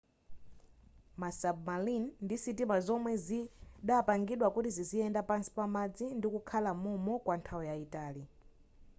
ma submarine ndi sitima zomwe zidapangidwa kuti ziziyenda pansi pa madzi ndikukhala mom'mo kwa nthawi yaitali